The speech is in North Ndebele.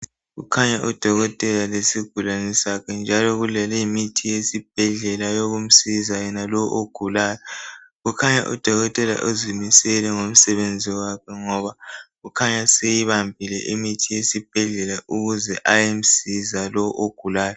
Kukhanya udokotela lesigulane sakhe njalo kuleyimithi esibhedlela eyokumsiza yena lo ogulayo. Kukhanya udokotela uzimisele ngomsebenzi wakhe ngoba kukhanya seyibambile imithi yesibhedlela ukuze ayemsiza lo ogulayo